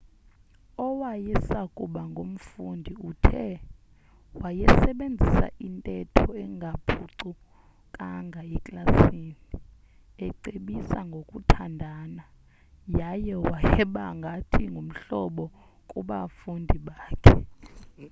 owayesakuba ngumfundi uthe wayesebenzisa intetho engaphucukanga eklasini ecebisa ngokuthandana yaye wayeba ngathi ngumhlobo kubafundi bakhe